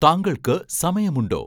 താങ്കൾക്ക് സമയമുണ്ടോ